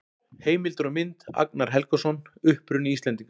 Heimildir og mynd: Agnar Helgason: Uppruni Íslendinga.